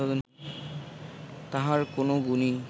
তাঁহার কোন গুণই